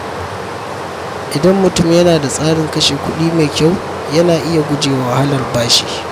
Idan mutum yana da tsarin kashe kuɗi mai kyau, yana iya guje wa wahalar bashi.